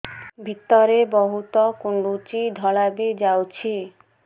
ଭିତରେ ବହୁତ କୁଣ୍ଡୁଚି ଧଳା ବି ଯାଉଛି